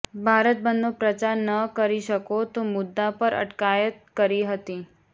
ભારત બંધનો પ્રચાર ન કરી શકો તે મુદ્દા પર અટકાયત કરી હતી